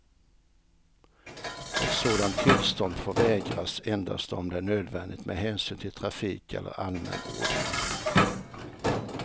Ett sådant tillstånd får vägras endast om det är nödvändigt med hänsyn till trafik eller allmän ordning.